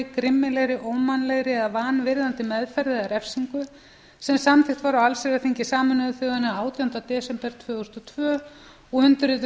grimmilegri ómannlegri eða vanvirðandi meðferð eða refsingu sem samþykkt var á allsherjarþingi sameinuðu þjóðanna átjánda desember tvö þúsund og tvö og undirrituð